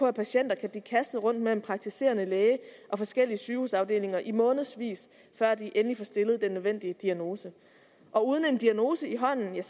at patienter kan blive kastet rundt mellem praktiserende læge og forskellige sygehusafdelinger i månedsvis før de endelig får stillet den nødvendige diagnose og uden en diagnose i hånden er